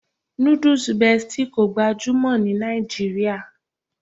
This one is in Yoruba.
Nudus Bestie kò gbajúmọ̀ ní Nàìjíríà